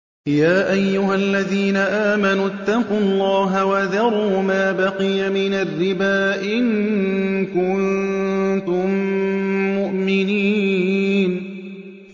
يَا أَيُّهَا الَّذِينَ آمَنُوا اتَّقُوا اللَّهَ وَذَرُوا مَا بَقِيَ مِنَ الرِّبَا إِن كُنتُم مُّؤْمِنِينَ